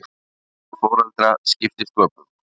Árvekni foreldra skipti sköpum